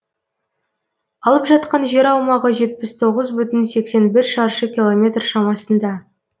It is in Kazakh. алып жатқан жер аумағы жетпіс тоғыз бүтін сексен бір шаршы километр шамасында